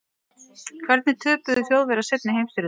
Hvernig töpuðu Þjóðverjar seinni heimsstyrjöldinni?